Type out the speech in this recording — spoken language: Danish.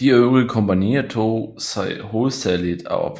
De øvrige kompagnier tog sig hovedsagligt af